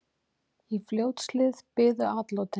Í Fljótshlíð biðu atlotin.